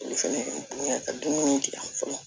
Olu fɛnɛ dun bɛ ka dumuni kɛ yan fɔlɔ